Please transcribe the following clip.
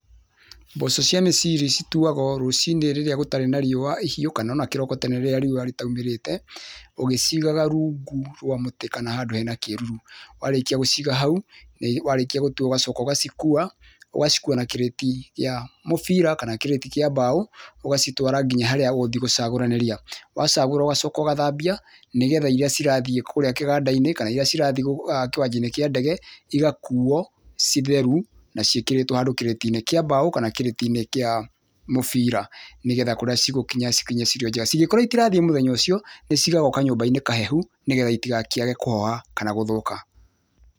Mboco cia meciri citũwagwo rũcinĩ rĩrĩa gũtarĩ na riũa rĩhiũ kana ũna kĩroko tene rĩrĩa riũa rĩtaũmĩrete, ũgĩcigaga rũngũ rwa mũtĩ kana handũ hena kĩrũrũ, warĩkia gũciga haũ, warĩkia gũtua ũgacoka ũgacikũwa ũgacikũwa na kirĩti ya mũbira kana kirĩti kĩa mbao ũgacitwara nginya harĩa ũgũthiĩ gũcagũranĩria, wacagũra ũgacoka ũgathambia, nĩgetha iria cirathiĩ kũrĩa kĩgandainĩ kana iria cirathiĩ kĩwanjainĩ kĩa ndege igakũwo ciĩ therũ na ciĩkĩrĩtwo hando kĩrĩtinĩ kia mbao kana kĩrĩtinĩ kĩa mũbira nĩgĩtha kũrĩa cigũkinya cikorwo irĩ njĩga. Cingĩkorwo itirathiĩ mũthĩnya ũcio nĩcigagwo kanyũmbainĩ kahehũ nĩgĩtha itikae kũhoha kana gũthũka.